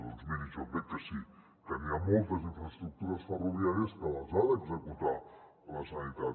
doncs miri jo crec que sí que n’hi ha moltes d’infraestructures ferroviàries que ha d’executar la generalitat